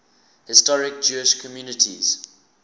historic jewish communities